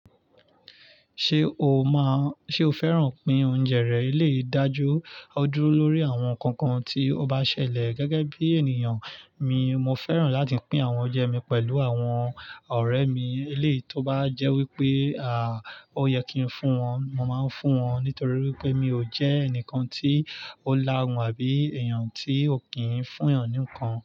Ṣé o fẹ́ràn pín oúnjẹ rẹ? Eleyii ọ dúró lórí àwọn nǹkan kan tí o bá n ṣẹlẹ̀ gẹ́gẹ́ bí ènìyàn. Mo fẹ́ràn láti pín àwọn oúnjẹ mi pẹ̀lú àwọn ọ̀rẹ́ mi, eléyìí tó bá jẹ́ wípé, ó yẹ kí n fún wọn, mo máa ń fún wọn nítorí wípé mi ò jẹ́ ẹnìkan tí ó lá hun àbí èèyàn tí ò kí ń fún èèyàn nì nkan.